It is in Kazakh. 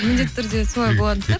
міндетті түрде солай болатын